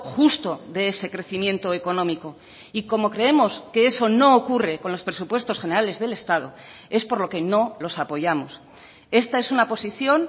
justo de ese crecimiento económico y como creemos que eso no ocurre con los presupuestos generales del estado es por lo que no los apoyamos esta es una posición